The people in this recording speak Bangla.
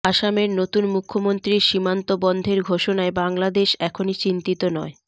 আসামের নতুন মুখ্যমন্ত্রীর সীমান্ত বন্ধের ঘোষণায় বাংলাদেশ এখনই চিন্তিত নয়